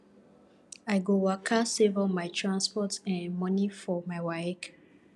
i go waka save all my transport um moni for my waec